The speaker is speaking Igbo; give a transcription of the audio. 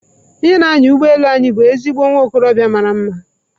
Onye na-anya ụgbọ elu anyị bụ ezigbo nwa okorobịa mara mma.